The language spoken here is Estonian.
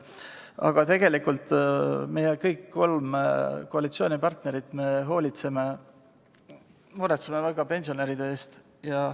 Aga tegelikult meie – kõik kolm koalitsioonipartnerit – hoolitseme väga pensionäride eest ja muretseme nende pärast.